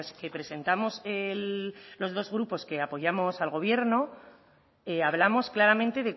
que presentamos el los dos grupos que apoyamos al gobierno hablamos claramente